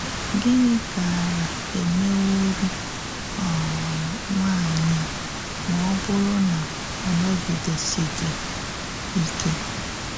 Gịnị gàárà émèwòrì um nwányị̀ à mà ọ bụ̀rụ̀ na ọ nọ̀gìdésìghì ìké?